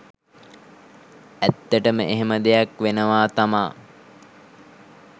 ඇත්තටම එහෙම දෙයක් වෙනව තමා.